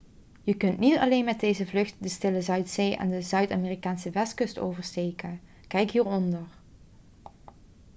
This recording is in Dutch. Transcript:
je kunt niet alleen met deze vlucht de stille zuidzee en de zuid-amerikaanse westkust oversteken. kijk hieronder